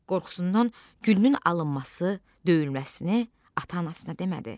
Qorxusundan gülünün alınması, döyülməsini ata-anasına demədi.